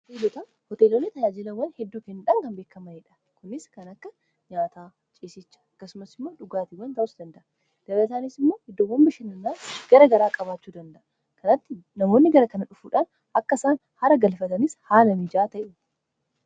Hooteelonni tayaajilawwan hedduu fi faayidaa madaalamuu hin dandeenye fi bakka bu’iinsa hin qabne qaba. Jireenya guyyaa guyyaa keessatti ta’ee, karoora yeroo dheeraa milkeessuu keessatti gahee olaanaa taphata. Faayidaan isaa kallattii tokko qofaan osoo hin taane, karaalee garaa garaatiin ibsamuu danda'a.